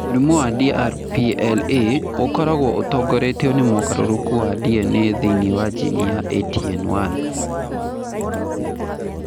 Mũrimũ wa DRPLA ũkoragwo ũtongoretio nĩ mũgarũrũku wa DNA thĩinĩ wa jini ya ATN1.